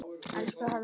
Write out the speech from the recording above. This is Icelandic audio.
Elsku Halla.